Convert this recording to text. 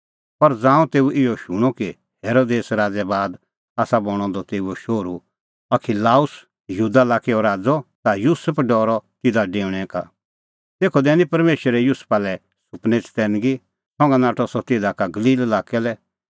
पर ज़ांऊं तेऊ इहअ शूणअ कि हेरोदेस राज़ै बाद आसा बणअ द तेऊओ शोहरू अखिलाउस यहूदा लाक्कै राज़अ ता युसुफ डरअ तिधा डेऊणैं का तेखअ दैनी परमेशरै युसुफा लै सुपनै चतैनगी संघा नाठअ सह तिधा का गलील लाक्कै लै